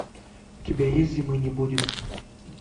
у тебя есть зимы не будет